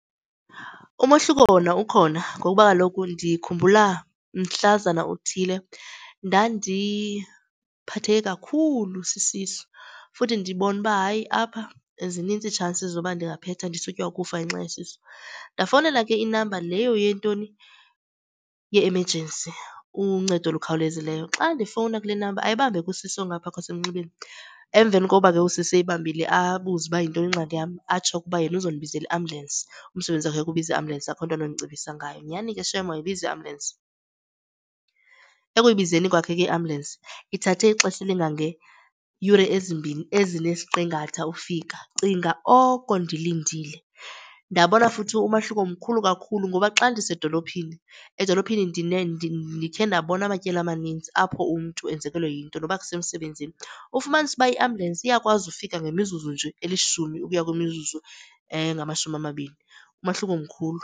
Umohluko wona ukhona ngoba kaloku ndikhumbula mhlazana uthile ndandiphatheke kakhulu sisisu futhi ndibona uba, hayi, apha zinintsi i-chances zoba ndingaphetha ndisutywa kukufa ngenxa yesisu. Ndafowunela ke inamba leyo yentoni, ye-emergency, uncedo olukhawulezileyo. Xa ndifowuna kule namba ayibambe ke usisi ongapha kwasemnxebeni. Emveni koba ke usisi eyibambile abuze ukuba yinto eyingxaki yam. Atsho ke ukuba yena oza kundibizela iambhyulensi, umsebenzi wakhe kukubiza iambhyulensi akho nto anondicebisa ngayo. Nyhani ke shem wayibiza iambhuyelensi. Ekuyibizeni kwakhe ke iambhyulensi ithathe ixesha elingangeeyure ezimbini ezinesiqingatha ukufika. Cinga oko ndilindile. Ndabona futhi umahluko mkhulu kakhulu ngoba xa ndisedolophini, edolophini ndikhe ndabona amatyeli amaninzi apho umntu enzekelwe yinto noba kusemsebenzini, ufumanise ukuba iambhyulensi iyakwazi ufika ngemizuzu nje elishumi ukuya kwimizuzu engamashumi amabini, umahluko mkhulu.